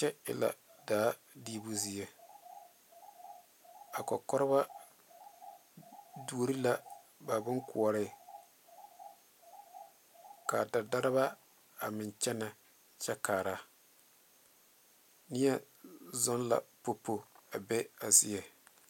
Kyɛ e la daa diibu zie a koɔrekoɔreba duori la ba bonkoɔre ka dadareba a meŋ kyɛnɛ kyɛ kaara neɛ zɔŋ la popo a be a zie.